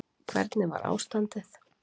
Hvernig var ástandið?